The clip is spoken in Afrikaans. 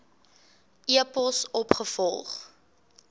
e pos opgevolg